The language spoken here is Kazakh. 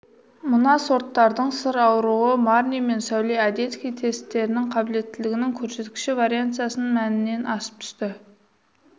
мына сорттардың сыр аруы марни мен сәуле одесский тестерінің қабілеттілігінің көрсеткіші вариансасының мәнінен асып түсті